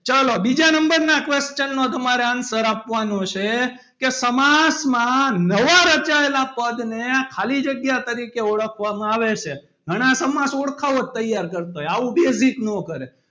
ચલો બીજા number નું question ના તમારો answer આપવાનું છે કે સમાસ માં નવા રચાયેલા પદ ને ખાલી જગ્યા તરીકે ઓળખામાં આવે છે ઘણાં સમાસ ઓળખાવો જ તૈયાર કરતાં હોય આવું basic ના કરે.